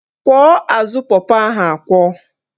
Kwọọ azụ pọpọ ahụ akwọ